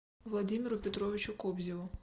владимиру петровичу кобзеву